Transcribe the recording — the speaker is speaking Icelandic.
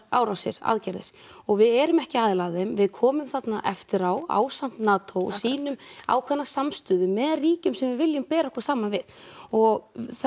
árásir aðgerðir og við erum ekki aðili að þeim við komum þarna eftir á ásamt NATO og sýnum ákveðna samstöðu með ríkjum sem við viljum bera okkur saman við og